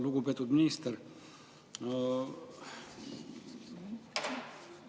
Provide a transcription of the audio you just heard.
Lugupeetud minister!